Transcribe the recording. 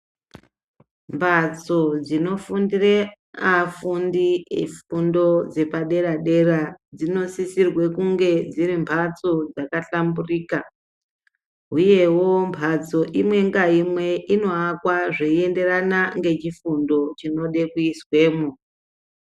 Mbatso dzinofundire afundi efundo dzepadera dera dzinosisirwe kunge dziri mbatso dzakahlamburuka huyewo mbatso imwe ngaimwe inoakwa zveyienderana nechifundo chinode kuizwemo.